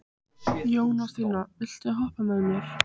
Jónasína, viltu hoppa með mér?